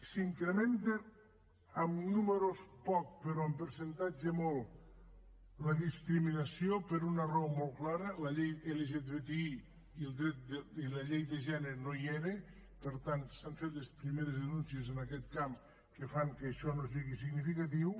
s’incrementa amb números poc però en percentatge molt la discriminació per una raó molt clara la llei lgtbi i la llei de gènere no hi eren per tant s’han fet les primeres denúncies en aquest camp que fan que això no sigui significatiu